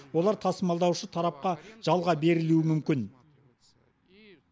олар тасымалдаушы тарапқа жалға берілуі мүмкін